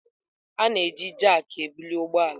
A na-eji jakị ebuli ụgbọ ala.